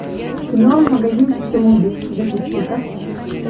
кино магазинчик самоубийств запусти ка